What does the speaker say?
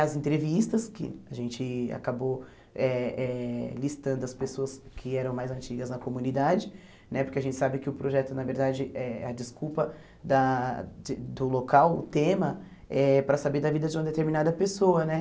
As entrevistas, que a gente acabou eh eh listando as pessoas que eram mais antigas na comunidade, né porque a gente sabe que o projeto, na verdade, é a desculpa da de do local, o tema, eh para saber da vida de uma determinada pessoa né.